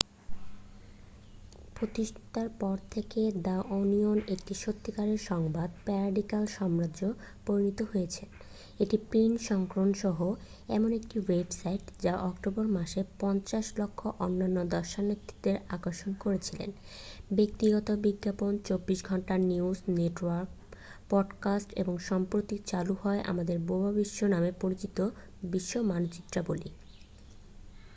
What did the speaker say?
প্রতিষ্ঠার পর থেকে দ্যা ওনিয়ন একটি সত্যিকারের সংবাদ প্যারোডি সাম্রাজ্যে পরিণত হয়েছে একটি প্রিন্ট সংস্করণ সহ এমন একটি ওয়েবসাইট যা অক্টোবর মাসে ৫,০০০,০০০ অনন্য দর্শনার্থীদের আকর্ষণ করেছিল ব্যক্তিগত বিজ্ঞাপন ২৪ ঘন্টা নিউজ নেটওয়ার্ক পডকাস্ট এবং সম্প্রতি চালু হওয়া আমাদের বোবা বিশ্ব নামে পরিচিত বিশ্ব মানচিত্রাবলী ।